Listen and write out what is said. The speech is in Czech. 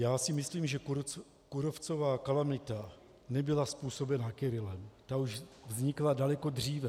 Já si myslím, že kůrovcová kalamita nebyla způsobena Kyrillem, ta už vznikla daleko dříve.